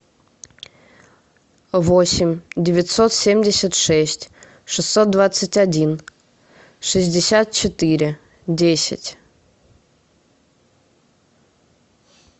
восемь девятьсот семьдесят шесть шестьсот двадцать один шестьдесят четыре десять